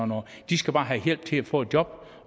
noget de skal bare have hjælp til at få et job